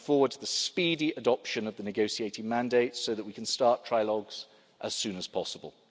I'm looking forward to the speedy adoption of the negotiating mandate so that we can start trilogues as soon as possible.